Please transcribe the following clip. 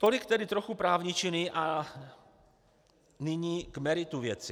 Tolik tedy trochu právničiny, a nyní k meritu věci.